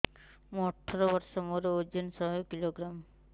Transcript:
ମୁଁ ଅଠର ବର୍ଷ ମୋର ଓଜନ ଶହ କିଲୋଗ୍ରାମସ